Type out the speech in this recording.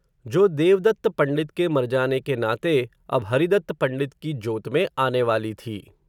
जो देवदत्त पण्डित के मर जाने के नाते, अब हरिदत्त पण्डित की जोत में आने वाली थी